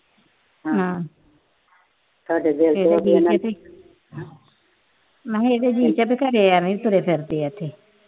ਮੈਂ ਕਿਹਾ ਰੀਟਾ ਦੇ ਘਰ ਆਈ ਤੁਰੇ ਫਿਰਦੇ ਆ ਇੱਥੇ।